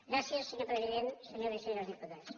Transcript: gràcies senyor president senyors i senyores diputats